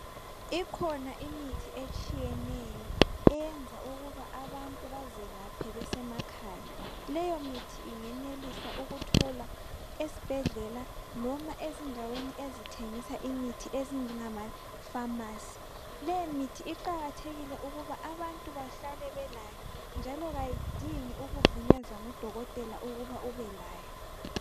Ikhona imithi etshiyeneyo eyenza ukuba abantu bazelaphe besemakhaya. Leyo mithi ingenelisa ukutholwa esibhedlela noma ezindaweni ezithengisa imithi ezinjengamapharmacy. Lemithi iqakathekile ukuba abantu bahlale belayo njalo kayidingi ukuvunyezwa ngudokotela ukuba ubelayo.